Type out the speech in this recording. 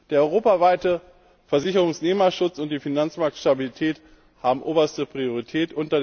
Der europaweite Versicherungsnehmerschutz und die Finanzmarktstabilität haben oberste Priorität.